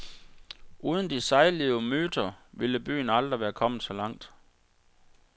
Uden de sejlivede myter ville byen aldrig være kommet så langt.